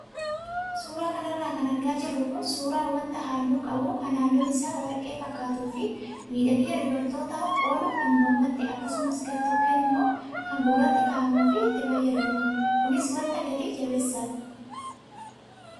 Suuraa kanarra kan argaa jirru kun suuraa wanta halluu qabuu kan halluun isaa warqee fakkaatuu fi miidhagina dubartootaaf oolu kan mormatti akkasumas gartokkeen immoo kan gurratti kaa'amuuf itti fayyadamnudha. Kuni wanta gatii jabeessadha.